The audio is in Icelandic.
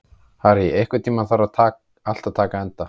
Harry, einhvern tímann þarf allt að taka enda.